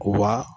Wa